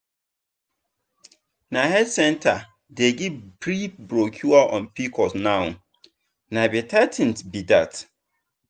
the health center dey give free brochure on pcos now na better thing be that.